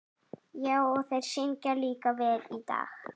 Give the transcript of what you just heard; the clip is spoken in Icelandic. Já, og þeir syngja líka vel í dag.